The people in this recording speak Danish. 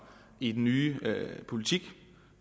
i den nye politik